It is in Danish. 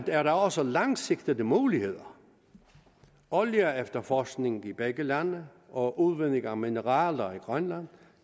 er der også langsigtede muligheder olieefterforskning i begge lande og udvinding af mineraler i grønland